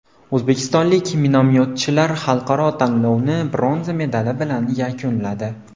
O‘zbekistonlik minomyotchilar xalqaro tanlovni bronza medali bilan yakunladi.